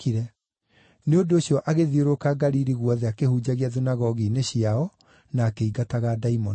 Nĩ ũndũ ũcio agĩthiũrũrũka Galili guothe akĩhunjagia thunagogi-inĩ ciao na akĩingataga ndaimono.